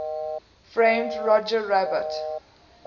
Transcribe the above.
framed roger rabbit